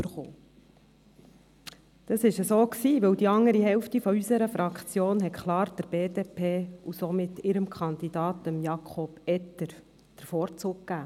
So war es, weil die andere Hälfte unserer Fraktion klar der BDP und somit deren Kandidaten, Jakob Etter, den Vorzug gab.